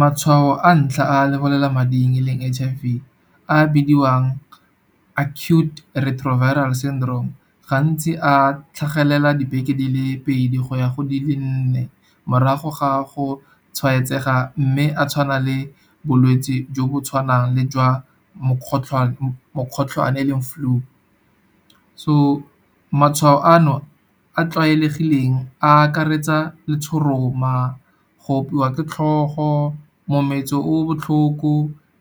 Matshwao a ntlha a lebolelamading e leng H_I_V a a bidiwang Acute Retroviral Syndrome. Gantsi a tlhagelela dibeke di le pedi go ya go di le nne morago ga go tshwaetsega. Mme a tshwana le bolwetse jo bo tshwanang le jwa mokgotlhwane e leng flu. So, matshwao a no a a tlwaelegileng a akaretsa letshoroma, go opiwa ke tlhogo, mometso o botlhoko,